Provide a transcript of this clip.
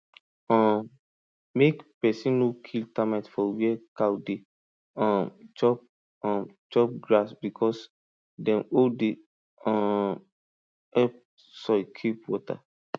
um mek person no kill termite for where cow dey um chop um chop grass because dem hole dey um help soil keep water